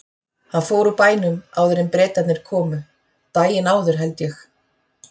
Hann fór úr bænum áður en Bretarnir komu, daginn áður held ég.